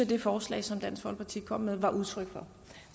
det forslag som dansk folkeparti kom med var udtryk for